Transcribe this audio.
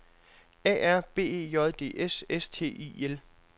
A R B E J D S S T I L